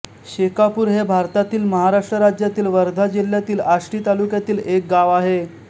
शेकापूर हे भारतातील महाराष्ट्र राज्यातील वर्धा जिल्ह्यातील आष्टी तालुक्यातील एक गाव आहे